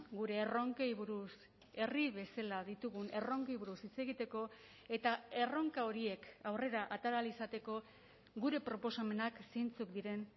gure erronkei buruz herri bezala ditugun erronkei buruz hitz egiteko eta erronka horiek aurrera atera ahal izateko gure proposamenak zeintzuk diren